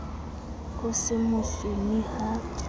ho se mo sune ha